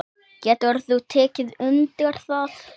Getur þú tekið undir það?